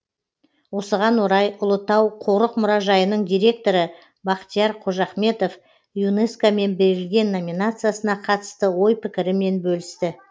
осыған орай ұлытау қорық мұражайының директоры бақтияр қожахметов юнеско мен берілген номинациясына қатысты ой пікірімен бөлісті